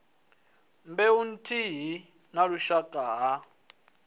mbeu nthihi na vhushaka ha